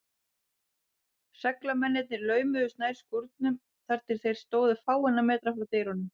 Seglamennirnir laumuðust nær skúrnum, þar til þeir stóðu fáeina metra frá dyrunum.